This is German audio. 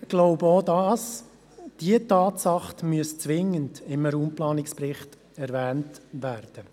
Auch diese Tatsache muss zwingend im Raumplanungsbericht erwähnt werden.